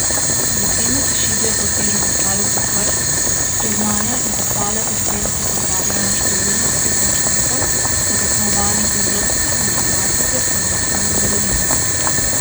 Vitrine se šibijo pod težo pokalov vseh vrst, priznanja in pohvale po stenah opozarjajo na številne uspehe učencev na tekmovanjih iz logike, matematike, slovenščine, zgodovine ...